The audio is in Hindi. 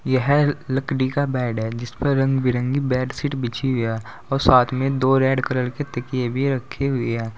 यह लकड़ी का बेड है जिस पर रंग बिरंगी बेडशीट बिछि है और साथ में दो रेड कलर के तकिया भी रखे हुए हैं।